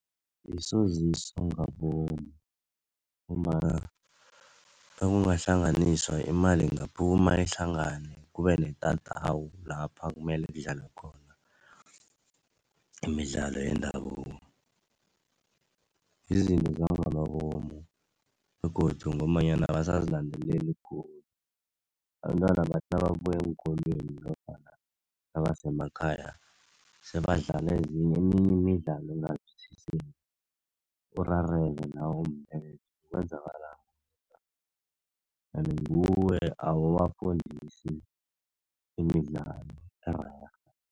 Isoziso ngabomu ngombana nakungahlanganiswa imali ingaphuma ihlangane, kube netatawu lapha kumele kudlalwa khona imidlalo yendabuko. Yizinto zangamabomu begodu ngombanyana abasazilandeleli khulu. Abentwana bathi nababuya eenkolweni nofana nabasemakhaya, sebadlala ezinye eminye imidlalo engazwisisekiko urareke nawe ukuthi kwenzakalani. Kanti nguwe awubafundisi imidlalo ererhe.